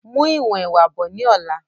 Mú ìwọ̀n ẹwà bọ̀ ni ọ̀la!